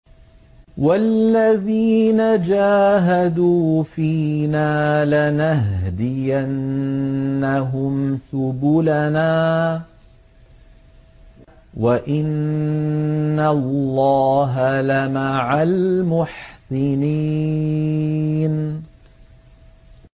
وَالَّذِينَ جَاهَدُوا فِينَا لَنَهْدِيَنَّهُمْ سُبُلَنَا ۚ وَإِنَّ اللَّهَ لَمَعَ الْمُحْسِنِينَ